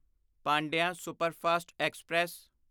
Pandian superfast express